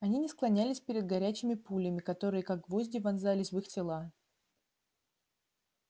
они не склонялись перед горячими пулями которые как гвозди вонзались в их тела